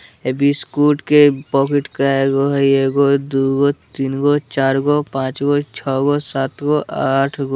ए biscuit के packet काइगो हेय एगो दूगो तिनगो चारगो पाँचगो छ गो सातगो आठगो--